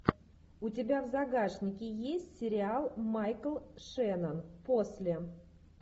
у тебя в загашнике есть сериал майкл шеннон после